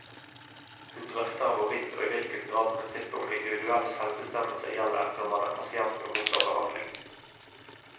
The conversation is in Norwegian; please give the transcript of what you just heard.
Hun drøfter hvorvidt og i hvilken grad prinsippet om individuell selvbestemmelse gjelder når man er pasient og mottar behandling.